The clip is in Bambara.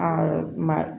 ma